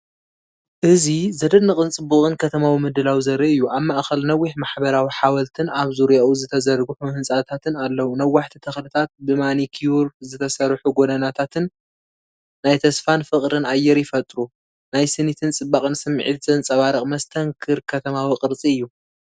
እዚ ዘደንቕን ጽቡቕን ከተማዊ ምድላው ዘርኢ እዩ። ኣብ ማእከል ነዊሕ ማሕበራዊ ሓወልቲን ኣብ ዙርያኡ ዝተዘርግሑ ህንጻታትን ኣለዉ። ነዋሕቲ ተኽልታትን ብማኒኪዩር ዝተሰርሑ ጎደናታትን ናይ ተስፋን ፍቕርን ኣየር ይፈጥሩ። ናይ ስኒትን ጽባቐን ስምዒት ዘንጸባርቕ መስተንክር ከተማዊ ቅርጺ እዩ።